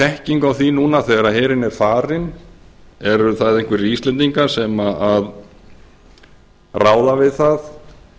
þekkingu á því núna þegar herinn er farinn eru það einhverjir íslendingar sem ráða við það